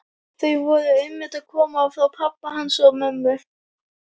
Þau voru einmitt að koma frá pabba hans og mömmu.